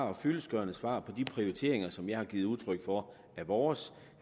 og fyldestgørende svar i de prioriteringer som jeg har givet udtryk for er vores